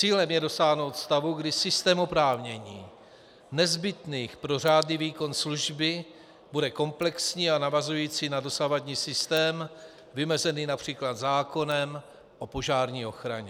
Cílem je dosáhnout stavu, kdy systém oprávnění nezbytných pro řádný výkon služby bude komplexní a navazující na dosavadní systém, vymezený například zákonem o požární ochraně.